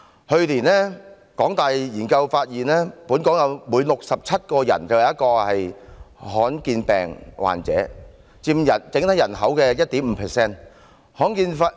去年，香港大學的研究發現，本港每67人便有1人是罕見病患者，佔整體人口的 1.5%。